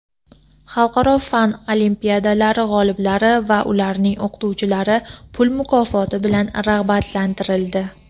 xalqaro fan olimpiadalari g‘oliblari va ularning o‘qituvchilari pul mukofoti bilan rag‘batlantirildi.